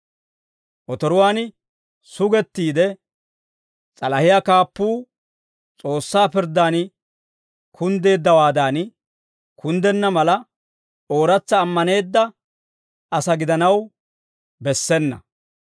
Otoruwaan sugettiid, s'alahiyaa kaappuu S'oossaa pirddan kunddeeddawaadan kunddenna mala, ooratsa ammaneedda asaa gidanaw bessena.